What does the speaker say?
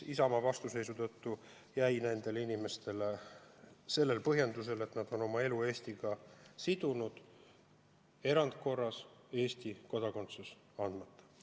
Isamaa vastuseisu tõttu jäi nendele inimestele hoolimata põhjendusest, et nad on oma elu Eestiga sidunud, erandkorras Eesti kodakondsus andmata.